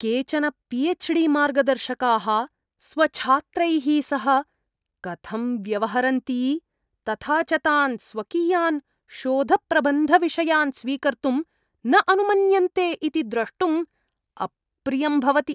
केचन पी.एच्.डी. मार्गदर्शकाः स्वछात्रैः सह कथं व्यवहरन्ति, तथा च तान् स्वकीयान् शोधप्रबन्धविषयान् स्वीकर्तुं न अनुमन्यन्ते इति द्रष्टुम् अप्रियं भवति।